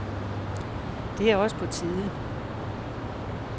Det er også på tide.